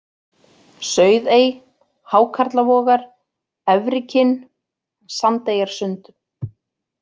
Sauðey, Hákarlavogar, Efrikinn, Sandeyjarsund